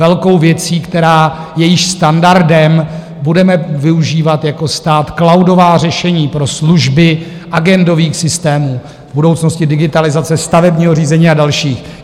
Velkou věcí, která je již standardem: budeme využívat jako stát cloudová řešení pro služby agendových systémů, v budoucnosti digitalizace stavebního řízení a další.